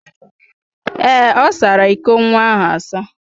Ee, ọ sara iko nwa ahụ asa.